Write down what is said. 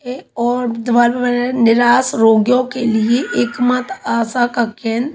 ये और निरास रोगियों के लिए एकमात्र आशा का केंद्र--